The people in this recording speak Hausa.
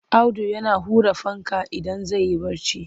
Audu yana ƙure fanka idan zai yi barci.